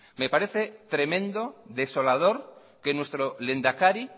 me parece tremendo desolador que nuestro lehendakari